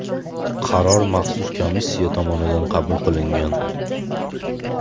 Qaror maxsus komissiya tomonidan qabul qilingan .